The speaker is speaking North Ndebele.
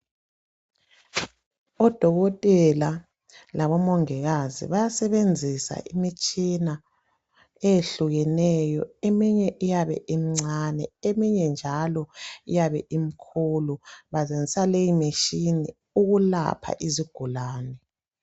Odokotela. labomongikazi bayasebenzisa imitshina eyehlukeneyo .Eminye iyabe imncane eminye njalo imkhulu .Basebenzisa leyi mitshina ukulapha izigulane .